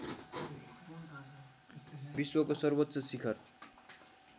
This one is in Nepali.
विश्वको सर्वोच्च शिखर